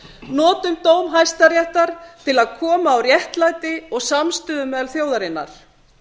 notum dóm hæstaréttar til að koma á réttlæti og meðal þjóðarinnar